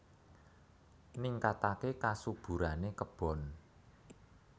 Ningkataké kasuburané kebon